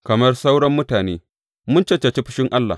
Kamar sauran mutane, mun cancanci fushin Allah.